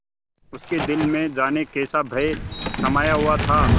उसके दिल में जाने कैसा भय समाया हुआ था